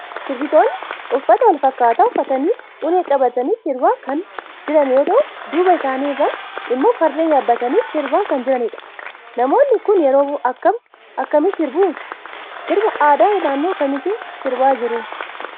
Sirbitoonni uffata walfakkataa uffatanii ulee qabatanii sirbaa kan jiran yoo ta'u duuba isaanii irraan immoo fardeen yaabbatanii sirbaa kan jiranidha. Namoonni kun yeroo akkam akkamii sirbu? Sirbaa aadaa naannoo kamiitiin sirbaa jiru?